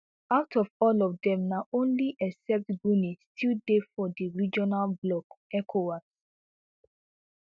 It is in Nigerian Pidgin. out of all of dem na only except guinea still dey for di regional bloc ecowas